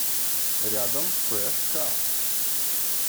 рядом фреш кар